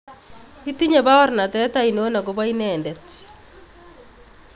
Itinye baornatet ainon agopo inendet?